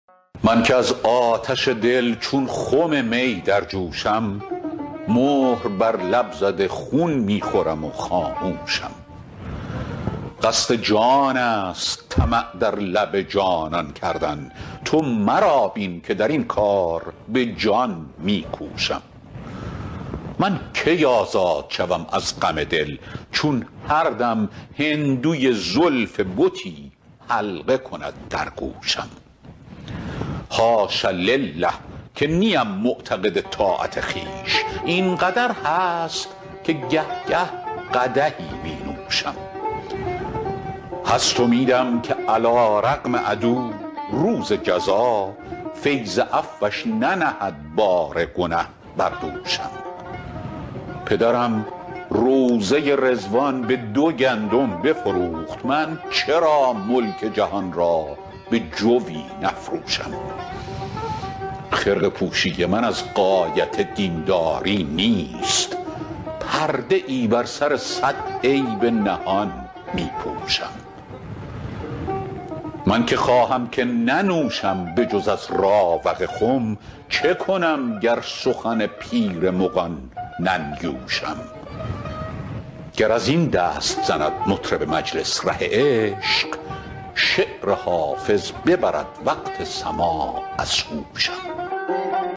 من که از آتش دل چون خم می در جوشم مهر بر لب زده خون می خورم و خاموشم قصد جان است طمع در لب جانان کردن تو مرا بین که در این کار به جان می کوشم من کی آزاد شوم از غم دل چون هر دم هندوی زلف بتی حلقه کند در گوشم حاش لله که نیم معتقد طاعت خویش این قدر هست که گه گه قدحی می نوشم هست امیدم که علیرغم عدو روز جزا فیض عفوش ننهد بار گنه بر دوشم پدرم روضه رضوان به دو گندم بفروخت من چرا ملک جهان را به جوی نفروشم خرقه پوشی من از غایت دین داری نیست پرده ای بر سر صد عیب نهان می پوشم من که خواهم که ننوشم به جز از راوق خم چه کنم گر سخن پیر مغان ننیوشم گر از این دست زند مطرب مجلس ره عشق شعر حافظ ببرد وقت سماع از هوشم